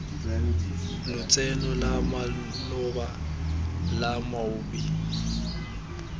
lotseno la maloba la moabi